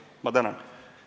Ma tänan!